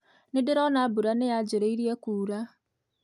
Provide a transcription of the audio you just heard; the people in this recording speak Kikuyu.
Nĩ ndĩrona mbura nĩyanjĩrĩirie kuura.